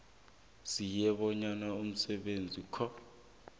sinye isibonelo somsebenzakho